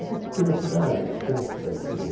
É uma pequena cidade, pequena cidadezinha.